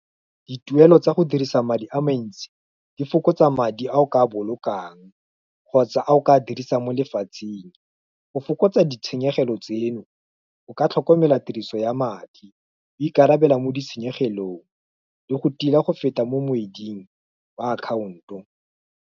Dituelo tsa go dirisa madi a mantsi, di fokotsa madi a o ka bolokang, kgotsa a o ka dirisa mo lefatsheng, go fokotsa ditshenyegelo tseno, o ka tlhokomela tiriso ya madi, o ikarabela mo ditshenyegelong, le go tila go feta mo moeding ba akhaonto.